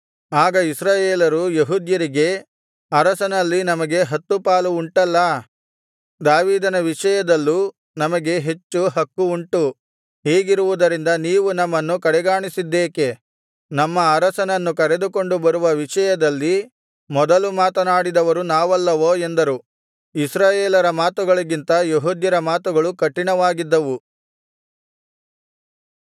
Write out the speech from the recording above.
ಆಗ ಇಸ್ರಾಯೇಲರು ಯೆಹೂದ್ಯರಿಗೆ ಅರಸನಲ್ಲಿ ನಮಗೆ ಹತ್ತು ಪಾಲು ಉಂಟಲ್ಲಾ ದಾವೀದನ ವಿಷಯದಲ್ಲೂ ನಮಗೆ ಹೆಚ್ಚು ಹಕ್ಕು ಉಂಟು ಹೀಗಿರುವುದರಿಂದ ನೀವು ನಮ್ಮನ್ನು ಕಡೆಗಾಣಿಸಿದ್ದೇಕೆ ನಮ್ಮ ಅರಸನನ್ನು ಕರೆದುಕೊಂಡು ಬರುವ ವಿಷಯದಲ್ಲಿ ಮೊದಲು ಮಾತನಾಡಿದವರು ನಾವಲ್ಲವೋ ಎಂದರು ಇಸ್ರಾಯೇಲರ ಮಾತುಗಳಿಗಿಂತ ಯೆಹೂದ್ಯರ ಮಾತುಗಳು ಕಠಿಣವಾಗಿದ್ದವು